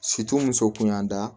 muso kun y'an da